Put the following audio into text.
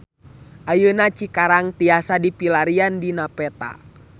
Ayeuna Cikarang tiasa dipilarian dina peta